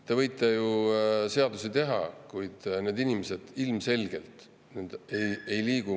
Te võite ju seadusi teha, kuid need inimesed ilmselgelt ei liigu …